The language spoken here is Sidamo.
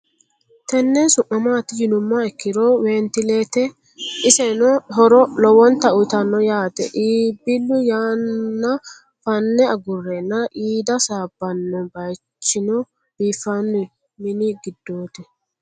Tenne su'mi maatti yinummoha ikkiro wentileette. isenno horo lowotta uyiittanno yaatte iibillu yanna fanne agureenna qiidda saabbanno. noo bayiichchino biiffanno mini gidootti.